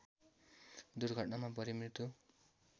दुर्घटनामा परी मृत्यु